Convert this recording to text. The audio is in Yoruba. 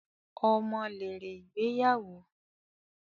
Ọmọ lèrè ìgbéyàwó